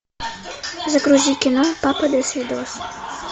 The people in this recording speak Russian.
загрузи кино папа досвидос